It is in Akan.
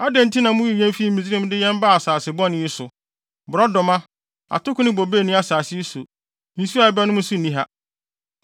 Adɛn nti na muyii yɛn fii Misraim de yɛn baa asase bɔne yi so? Borɔdɔma, atoko ne bobe nni asase yi so. Nsu a yɛbɛnom nso nni ha.”